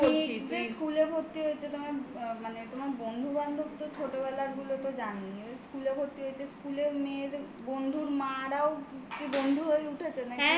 তোমার মেয়ে যে school এ ভর্তি হয়েছে তোমার আ মানে তোমার বন্ধু বান্ধব তো ছোটবেলার গুলো তো জানেই এবার school এ ভর্তি school এ ভর্তি হয়েছে. স্কুলের মেয়ের বন্ধুর মা রাও বন্ধু হয়ে উঠেছে নাকি?